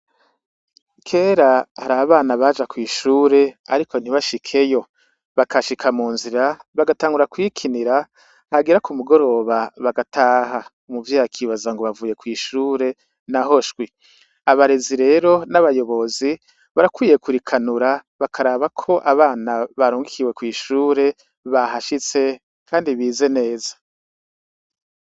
Kera hari abana baja kw'ishure, ariko ntibashikeyo bakashika mu nzira bagatangura kwikinira hagira ku mugoroba bagataha mu vyakibaza ngo bavuye kw'ishure na ho shwi abarezi rero n'abayobozi barakwiye kurikanura bakarabako abana bara mukiwe kw'ishure bahashitse, kandi bize neza.